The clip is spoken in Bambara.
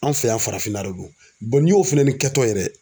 An fɛ yan farafinna de don Bɔn n'i y'o fɛnɛ ni kɛtɔ ye dɛ